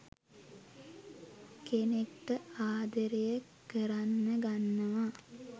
කෙනෙක්ට ආදරේ කරන්න ගන්නවා